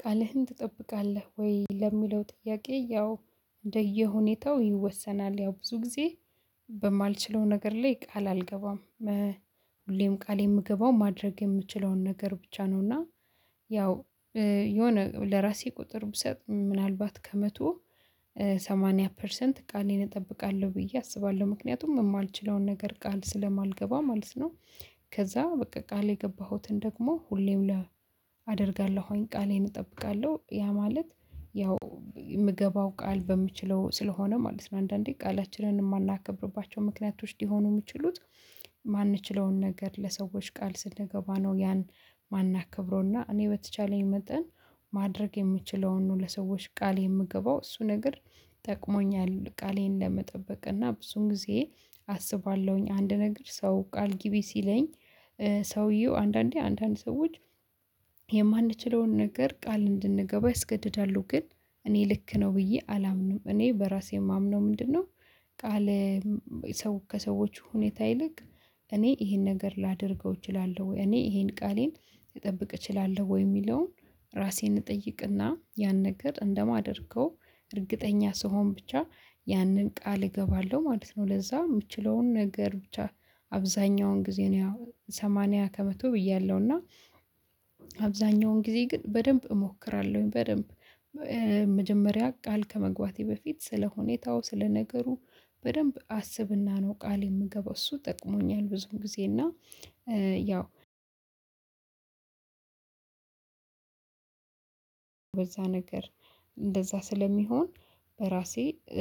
ቃልህን ትጠብቃለህ ወይ ለሚለው ጥያቄ ያው እንደየሁኔታው ይወሰናል። ያው ብዙ ጊዜ በማልችለው ነገር ላይ ቃል አልገባም። ሁሌም ቃል የምገባው ማድረግ የምችለውን ነገር ብቻ ነው። እና ያው የሆነ ለራሴ ቁጥር ብሰጥ ምናልባት ከመቶ ሰማንያ ፐርሰንት ቃሌን እጠብቃለሁ ብዬ አስባለሁ። ምክንያቱም እማልችለውን ነገር ቃል ስለማልገባ ማለት ነው። ከዛ በቃ ቃሌ የገባሁትን ደግሞ ሁሌም አደርጋለሁኝ ቃሌን እጠብቃለሁ። ያ ማለት ያው የምገባው ቃል በምችለው ስለሆነ ማለት ነው። አንዳንዴ ቃላችንን የማናከብርባቸው ምክንያቶች ሊሆኑ የሚችሉት የማንችለውን ነገር ለሰዎች ቃል ስንገባ ነው። ያን ማናከብረው እኔ በተቻለኝ መጠን ማድረግ የምችለውን ነው። ለሰዎች ቃል የምገባው እሱ ነገር ጠቅሞኛል። ቃሌን ለመጠበቅ እና ብዙን ጊዜ አስባለሁኝ አንድ ነገር ሰው ቃል ግቢ ሲለኝ። ሰውየው አንዳንዴ አንዳንድ ሰዎች የማንችለውን ነገር ቃል እንድንገባ ያስገድዳሉ ግን እኔ ልክ ነው ብዬ አላምንም። እኔ በራሴ የማምነው ምንድነው? ቃል ሰው ከሰዎች ሁኔታ ይልቅ እኔ ይሄን ነገር ላደርገው እችላለሁ? ወይ እኔ ይሄን ቃሌን ልጠብቅ እችላለሁ ወይ? የሚለውን ራሴን እጠይቅ እና ያን ነገር እንደማደርገው እርግጠኛ ስሆን ብቻ ያንን ቃል እገባለሁ ማለት ነው። ለዛ የምችለውን ነገር ብቻ አብዛኛውን ጊዜ ነው። ያው ሰማንያ ከመቶ ብያለሁ እና አብዛኛውን ጊዜ ግን በደንብ እሞክራለሁኝ። በደንብ መጀመሪያ ቃል ከመግባቴ በፊት ስለሁኔታው ስለነገሩ በደንብ አስብና ነው ቃል የምገባው እሱ ጠቅሞኛል። ብዙም ጊዜ እና ያው በዛ ነገር እንደዛ ስለሚሆን በራሴ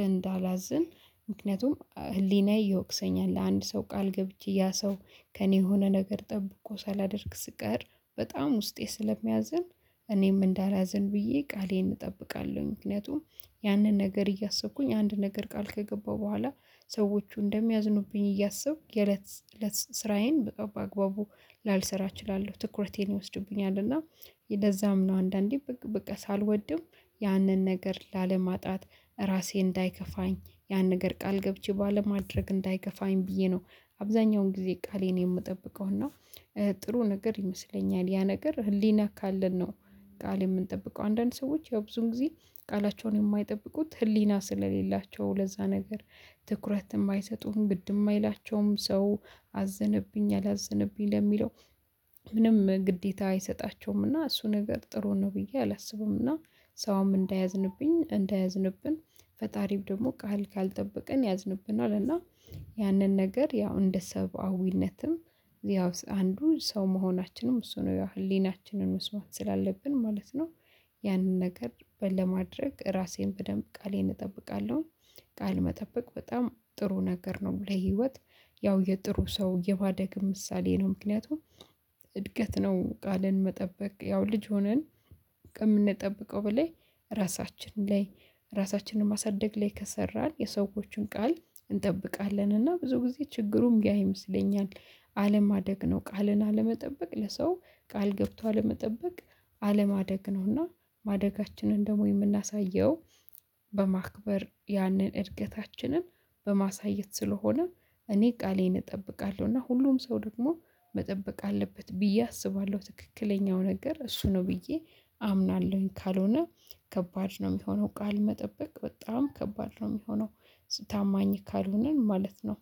እንዳላዝን ምክንያቱም ህሊናዬ ይወቅሰኛል ነው። ለአንድ ሰው ቃል ገብቼ ያ ሰው ከእኔ የሆነ ነገር ጠብቆ ሳላደርግ ስቀር በጣም ውስጤ ስለሚያዝን እኔም እንዳላዝን ብዬ ቃሌን እጠብቃለሁኝ። ምክንያቱም ያንን ነገር እያሰብኩኝ አንድ ነገር ቃል ከገባሁ በኋላ ሰዎቹ እንደሚያዝኑብኝ እያሰብኩ የለት ለት ስራዬን በጣም በአግባቡ ላልሰራ እችላለሁ ትኩረቴን ይወስድብኛል። እና ለዛም ነው አንዳንዴ በቃ ሳልወድም ያንን ነገር ላለማጣት ራሴ እንዳይከፋኝ ያን ነገር ቃል ገብቼ ባለማድረግ እንዳይከፋኝ ብዬ ነው። አብዛኛውን ጊዜ ቃሌን የምጠብቀው። እና ጥሩ ነገር ይመስለኛል ያ ነገር ህሊና ካለን ነው። ቃል የምንጠብቀው አንዳንድ ሰዎች ያው ብዙን ጊዜ ቃላቸውን የማይጠብቁት ህሊና ስለሌላቸው። ለዛ ነገር ትኩረት የማይሰጡህን ግድም የማይላቸውም ሰው አዘነብኝ አላዘነብኝ ለሚለው ምንም ግዴታ አይሰጣቸውም እና እሱ ነገር ጥሩ ነው ብዬ አላስብም። እና ሰውም እንዳያዝንብኝ እንዳያዝንብን ፈጣሪው ደግሞ ቃል ካልጠበቀን ያዝንብናል። እና ያንን ነገር ያው እንደ ሰብአዊነትም ያው አንዱ ሰው መሆናችንም እሱ ነው ያው ህሊናችንን መስማት ስላለብን ማለት ነው። ያንን ነገር በለማድረግ ራሴን በደንብ ቃሌን እጠብቃለሁ። ቃል መጠበቅ በጣም ጥሩ ነገር ነው። ለህይወት ያው የጥሩ ሰው የባደግም ምሳሌ ነው። ምክንያቱም እድገት ነው ቃልን መጠበቅ ያው ልጅ ሆነን ከምንጠብቀው በላይ ራሳችን ላይ ራሳችንን ማሳደግ ላይ ከሰራን የሰዎችን ቃል እንጠብቃለን እና ብዙ ጊዜ ችግሩም ያ ይመስለኛል። አለማደግ ነው ቃልን አለመጠበቅ ለሰው ቃል ገብቶ አለመጠበቅ አለማደግ ነው። እና ማደጋችንን ደግሞ የምናሳየው በማክበር ያንን እድገታችንን በማሳየት ስለሆነ እኔ ቃሌን እጠብቃለሁ። እና ሁሉም ሰው ደግሞ መጠበቅ አለበት ብዬ አስባለሁ። ትክክለኛው ነገር እሱ ነው ብዬ አምናለሁኝ። ካልሆነ ከባድ ነው የሚሆነው ቃል መጠበቅ በጣም ከባድ ነው የሚሆነው። ታማኝ ካልሆነን ማለት ነው